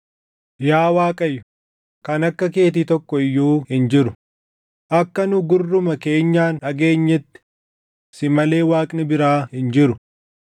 “Yaa Waaqayyo, kan akka keetii tokko iyyuu hin jiru; akka nu gurruma keenyaan dhageenyetti si malee Waaqni biraa hin jiru.